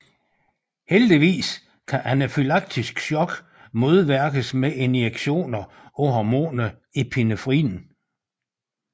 Heldigvis kan anafylaktisk shock modvirkes med injektioner af hormonet epinefrin